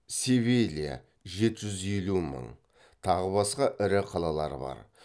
севилия тағы басқа ірі қалалары бар